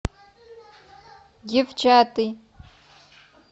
девчата